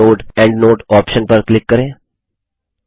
फिर footnote endnote option पर click करें